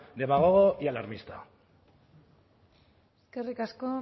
demagogo y alarmista eskerrik asko